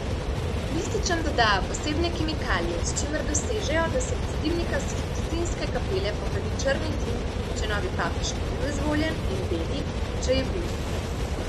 Lističem dodajo posebne kemikalije, s čimer dosežejo, da se iz dimnika Sikstinske kapele pokadi črni dim, če novi papež ni bil izvoljen, in beli, če je bil.